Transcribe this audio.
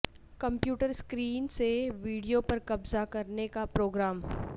computer screen سے video پر قبضہ کرنے کا پروگرام